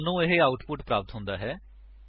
ਸਾਨੂੰ ਇਹ ਆਉਟਪੁਟ ਪ੍ਰਾਪਤ ਹੁੰਦਾ ਹੈ